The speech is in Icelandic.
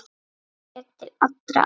Sér til allra átta.